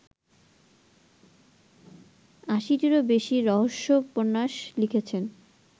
৮০-টিরও বেশী রহস্যোপন্যাস লিখেছেন